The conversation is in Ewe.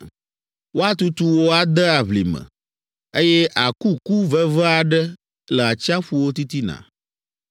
Woatutu wò ade aʋlime, eye àku ku veve aɖe le atsiaƒuwo titina.